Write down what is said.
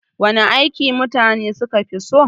Wana aiki mutane suka fi so?